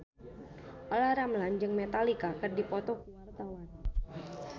Olla Ramlan jeung Metallica keur dipoto ku wartawan